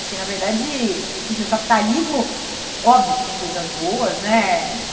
Porque, na verdade, enfim, o capitalismo, óbvio que tem coisas boas, né?